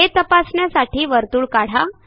हे तपासण्यासाठी वर्तुळ काढा